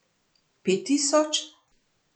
Pet tisoč?